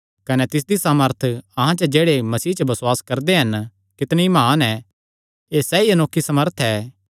कने तिसदी सामर्थ अहां च जेह्ड़े मसीह च बसुआस करदे हन कितणी म्हान ऐ एह़ सैई अनोखी सामर्थ ऐ